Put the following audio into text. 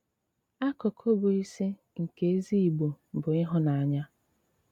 Ákụ̀kụ bụ́ ísí nké ézí Ìgbò bụ́ íhụ́nànyà.